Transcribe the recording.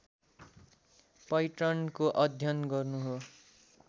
पैटर्नको अध्ययन गर्नु हो